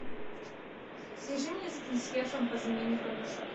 свяжи меня с консьержем по замене подушек